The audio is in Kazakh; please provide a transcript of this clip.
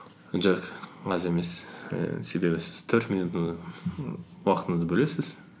жоқ аз емес ііі себебі сіз төрт минутыны і уақыңызды бөлесіз